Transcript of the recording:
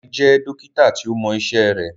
Dare jẹ́ Dókítà tíó Mo iṣé rẹ.